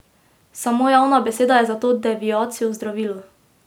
Samo javna beseda je za to deviacijo zdravilo.